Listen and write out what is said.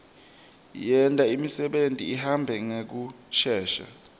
yenta imisebeni ihambe ngekushesha